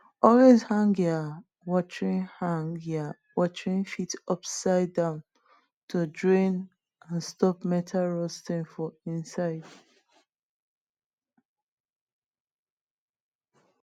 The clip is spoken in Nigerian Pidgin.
always hang ya watering hang ya watering fit upside down to drain and stop metal rusting for inside